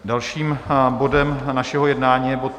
Dalším bodem našeho jednání je bod